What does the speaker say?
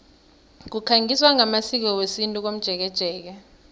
kukhangiswa ngamasiko wesintu komjekejeke